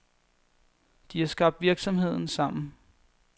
De har skabt virksomheden sammen.